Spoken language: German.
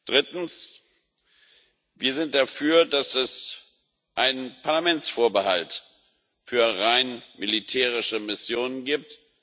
Drittens Wir sind dafür, dass es einen Parlamentsvorbehalt für rein militärische Missionen gibt